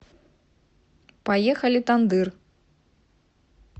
поехали тандыр